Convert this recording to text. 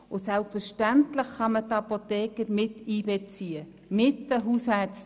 Und selbstverständlich kann man die Apotheker miteinbeziehen, zusammen mit den Hausärzten.